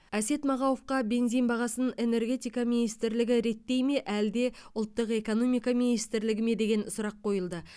әсет мағауовқа бензин бағасын энергетика министрлігі реттей ме әлде ұлттық экономика министрлігі ме деген сұрақ қойылды